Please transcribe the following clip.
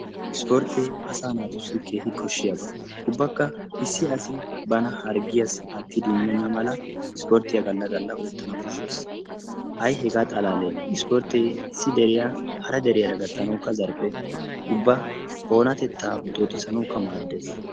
Ispportte asa naatussi keehi koshshiyaaba. ubbakka issi asi bana harggiyassi aattidi immena mala ispporttiyaa galla galla oottana koshshees. ay hega xalaale ispportte issi deriya hara deriyaara gattanawukka zarphphe. ubba oonatetta boxxoxisanawukka maaddees.